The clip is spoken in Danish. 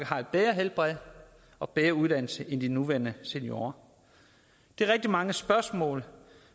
har et bedre helbred og bedre uddannelse end de nuværende seniorer det er rigtig mange spørgsmål